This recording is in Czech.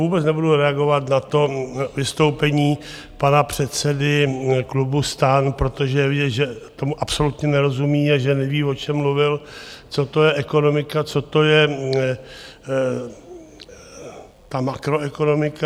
Vůbec nebudu reagovat na to vystoupení pana předsedy klubu STAN, protože je vidět, že tomu absolutně nerozumí a že neví, o čem mluvil, co to je ekonomika, co to je ta makroekonomika.